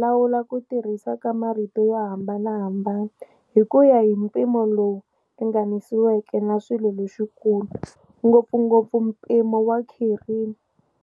lawula ku tirhisiwa ka marito yo hambanahambana hi ku ya hi mpimo lowu ringaniseriweke wa swilo leswikulu, ngopfugopfu mpimo wa khirimi.